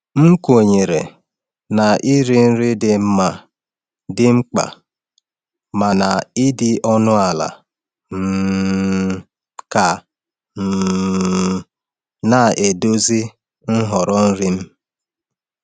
M kwenyere na iri nri dị mma dị mkpa, mana ịdị ọnụ ala um ka um na-eduzi nhọrọ nri m.